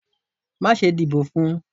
Ma sé dibò fún